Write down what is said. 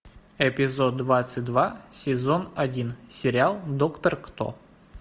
эпизод двадцать два сезон один сериал доктор кто